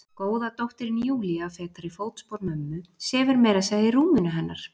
Góða dóttirin Júlía, fetar í fótspor mömmu, sefur meira að segja í rúminu hennar.